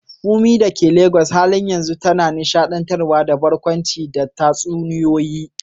Funmi dake Legas a halin yanzu tana nishaɗantarwa da barkwanci da tatsuniyoyi.